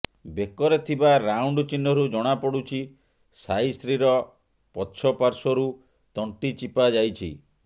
ବେକରେ ଥିବା ରାଉଣ୍ଡ ଚିହ୍ନରୁ ଜଣାପଡୁଛି ସାଇଶ୍ରୀର ପଛ ପାଶ୍ୱର୍ରୁ ତଣ୍ଟି ଚିପା ଯାଇଛି